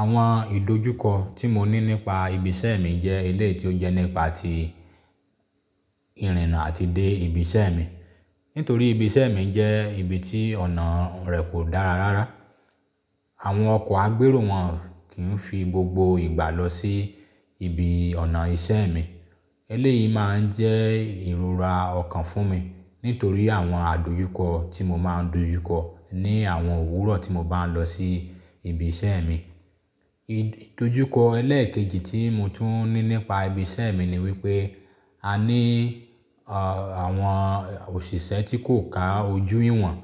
Àwọn ìdojúkọ tí mo ní nípa ibi iṣẹ́ mi jẹ́ ilẹ̀ tí ó yẹ nípa tí ìrìnnà àti dé ibi iṣẹ́ mi. Nítorí ibi iṣẹ́ mi jẹ́ ibi tí ọ̀nà rẹ̀ kò dára rárá. Àwọn ọkọ̀ agbéró wọn kìń fi gbogbo ìgbà lọ sí ibi ọ̀nà iṣẹ́ mi. Eléyìí máa ń jẹ́ ìrora ọ̀kan fún mi nítorí àwọn àdojúkọ tí mo máa ń dojúkọ ní àwọn òwúrọ̀ tí mo bá ń lọ sí ibi iṣẹ́ mi. Ìdojúkọ ẹlẹ́ẹ̀kejì tí mo tún ní nípa ibi iṣẹ́ mi ni wípé a ní a àwọn òṣìṣẹ́ tí kò ka ojú iwọn.